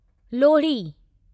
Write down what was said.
Lohri